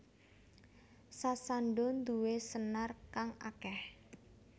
Sasando nduwe senar kang akeh